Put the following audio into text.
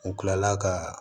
U kilala ka